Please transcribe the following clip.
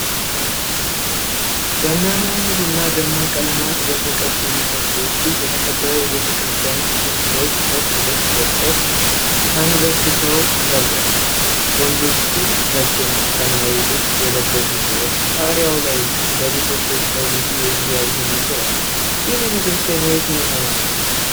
በሚያማምሩና ደማቅ ቀለማት በተቀቡ ምሰሶዎች የተከበበ ቤተክርስቲያን ውስጥ ብዙ ሰዎች ነጭ ልብስ ለብሰው ተንበርክከው ይጸልያሉ። ወንዶቹ ነጭና ሰማያዊ ልብስ የለበሱ ሲሆን፣ ጣሪያው ላይ እና በምሰሶቹ ላይ ብዙ የእግዚአብሔር ስዕሎች አሉ። ይህ ቤተክርስቲያን የየትኛው ሀይማኖት ነው?